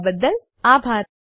જોડાવાબદ્દલ આભાર